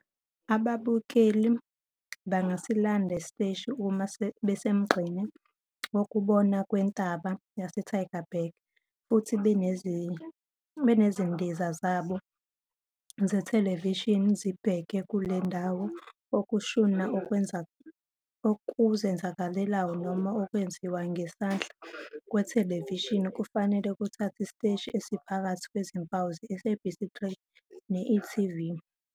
Ababukeli bangasilanda isiteshi uma besemgqeni wokubona kwentaba yaseTygerberg futhi nezindiza zabo zethelevishini zibheke kule ndawo. Ukushuna okuzenzakalelayo noma okwenziwa ngesandla kwethelevishini kufanele kuthathe isiteshi esiphakathi kwezimpawu zeSABC3 ne-eTV.